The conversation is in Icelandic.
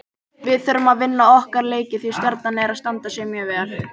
Við þurfum að vinna okkar leiki því Stjarnan er að standa sig mjög vel.